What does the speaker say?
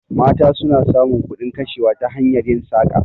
Mata suna samun kudin kashewa ta hanyar yin saƙa